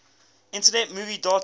internet movie database